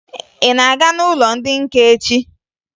Ị na-aga n'ụlọ ndị nka echi?